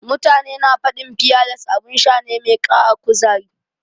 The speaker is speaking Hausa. Mutane na faɗin fiyales abin sha ne mai ƙara kuzari.